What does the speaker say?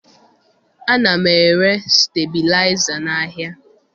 Ana m ere stebilaịza n'ahịa